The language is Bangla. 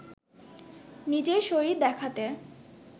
নিজের শরীর দেখাতে